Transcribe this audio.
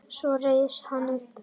Svo reis hann upp.